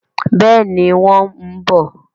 Bẹ́ẹ̀ni, wọ́n ń mu bọ̀.